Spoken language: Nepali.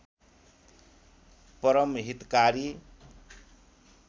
परम हितकारी